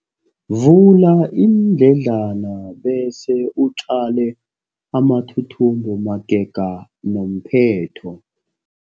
Vula iindledlana bese utjale amathuthumbo magega nomphetho.